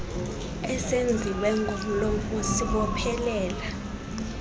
esenziwe ngomlomo sibophelela